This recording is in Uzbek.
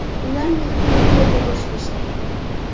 Ular meni tog‘ri yo‘lga boshlashdi.